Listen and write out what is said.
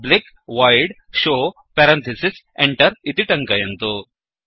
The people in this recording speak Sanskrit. पब्लिक वोइड् showपब्लिक् वैड् शो पेरन्थिसिस् Enterएण्टर्इति टङ्कयन्तु